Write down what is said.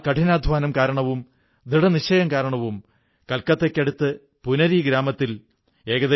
നമ്മുടെ ആധ്യാത്മികത യോഗ ആയുർവ്വേദം എന്നിവ ലോകത്തെ മുഴുവൻ ആകർഷിച്ചതുപോലെ